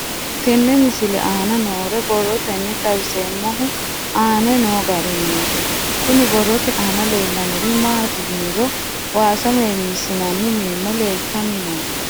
Tenne misile aana noore borroteni xawiseemohu aane noo gariniiti. Kunni borrote aana leelanori maati yiniro waaasa meemisinanni meemo leeltanni nooe.